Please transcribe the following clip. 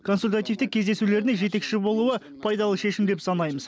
консультативтік кездесулеріне жетекші болуы пайдалы шешім деп санаймыз